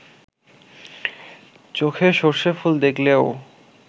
চোখে সর্ষে ফুল দেখলেও